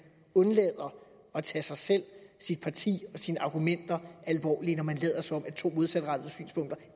undlader at tage sig selv sit parti og sine argumenter alvorligt når man lader som to modsatrettede synspunkter